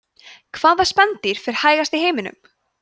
hvaða spendýr fer hægast í heiminum